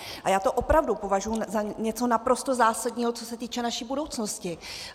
A já to opravdu považuji za něco naprosto zásadního, co se týče naší budoucnosti.